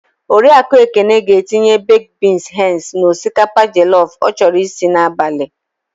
Oriakụ Ekene ga-etinye bekd bins henz n'osikapa jọlọf ọ chọrọ isi n'abalị.